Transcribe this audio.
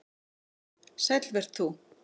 Sæll vert þú